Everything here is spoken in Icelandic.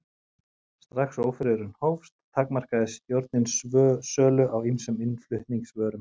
Strax og ófriðurinn hófst, takmarkaði stjórnin sölu á ýmsum innflutningsvörum.